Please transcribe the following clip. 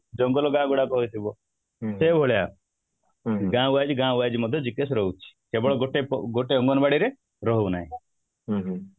ଜଙ୍ଗଲ ଗାଁ ଗୁଡାକ ହେଇଥିବ ସେଇଭଳିଆ ଗାଁ wise ଗାଁ wise ମଧ୍ୟ GKS ରହୁଛି କେବଳ ଗୋଟେ ଅଙ୍ଗନବାଡି ରେ ରହୁନାହିଁ